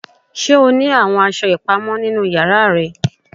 Ṣe o ni awọn aṣọ ipamọ ninu yara rẹ?